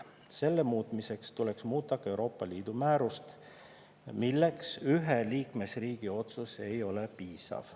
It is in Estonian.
Selle muutmiseks tuleks muuta ka Euroopa Liidu määrust, milleks ühe liikmesriigi otsus ei ole piisav.